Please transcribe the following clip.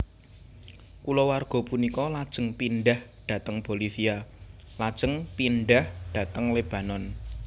Kulawarga punika lajeng pindhah dhateng Bolivia lajeng pindhah dhateng Lebanon